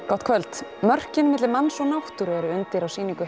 gott kvöld mörkin milli manns og náttúru eru undir á sýningu